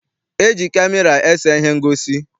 E ji kamera ese ihe ngosi.